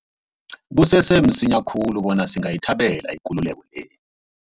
Kusese msinya khulu bona singayithabela ikululeko le.